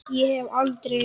Ég hef aldrei.